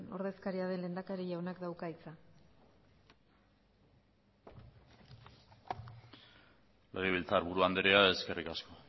ordezkaria den lehendakari jaunak dauka hitza legebiltzarburu andrea eskerrik asko